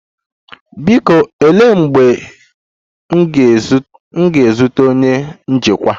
Biko, olee mgbe m ga-ezute onye njikwa?